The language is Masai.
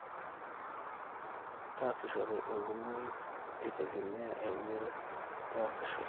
taasishore enkumoi eitegemea eunore nitasishore